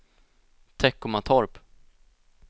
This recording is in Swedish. Teckomatorp